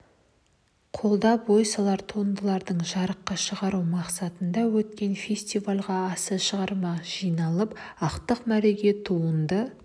қолдап ой салар туындыларды жарыққа шығару мақсатында өткен фестивалге аса шығарма жиналып ақтық мәреге туынды